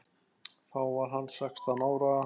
Þá var hann sextán ára.